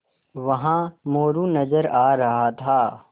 वहाँ मोरू नज़र आ रहा था